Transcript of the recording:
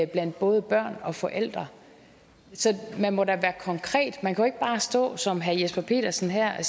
blandt både børn og forældre man må da være konkret man kan da ikke bare stå som herre jesper petersen her